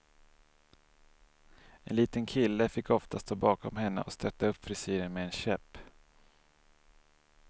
En liten kille fick ofta stå bakom henne och stötta upp frisyren med en käpp.